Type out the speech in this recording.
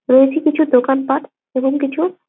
পেয়েছি কিছু দোকানপাট এবং কিছু--